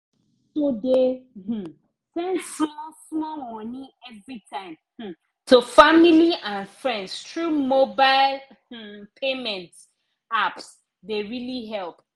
to dey um send small small money everytime um to family and friends through mobile um payment apps dey really help